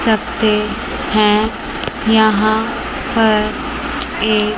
सफेद हैं यहां पर एक--